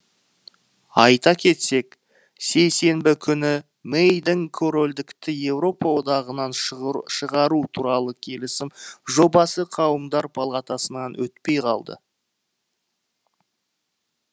айта кетсек сейсенбі күні мэйдің корольдікті еуропа одағынан шығару туралы келісім жобасы қауымдар палатасынан өтпей қалды